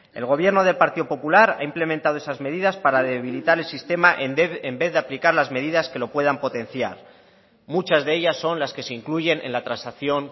el gobierno del partido popular ha implementado esas medidas para debilitar el sistema en vez de aplicar las medidas que lo puedan potenciar muchas de ellas son las que se incluyen en la transacción